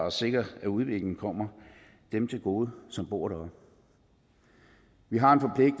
at sikre at udviklingen kommer dem til gode som bor der vi har